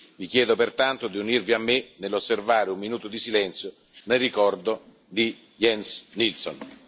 Vi chiedo pertanto di unirvi a me nell'osservare un minuto di silenzio nel ricordo di Jens Nilsson.